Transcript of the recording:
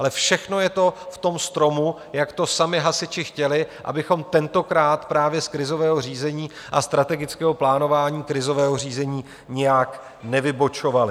Ale všechno je to v tom stromu, jak to sami hasiči chtěli, abychom tentokrát právě z krizového řízení a strategického plánování krizového řízení nijak nevybočovali.